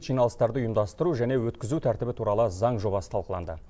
жиналыстарды ұйымдастыру және өткізу тәртібі туралы заң жобасы талқыланды